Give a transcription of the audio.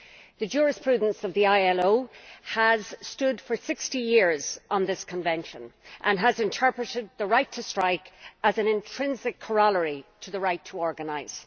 The jurisprudence of the ILO has stood for 60 years on this convention and has interpreted the right to strike as an intrinsic corollary to the right to organise.